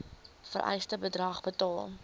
vereiste bedrag betaal